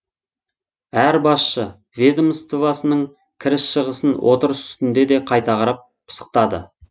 әр басшы ведомствосының кіріс шығысын отырыс үстінде де қайта қарап пысықтады